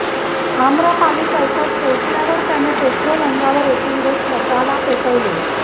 आम्रपाली चौकात पोहोचल्यावर त्याने पेट्रोल अंगावर ओतून घेत स्वतःला पेटवले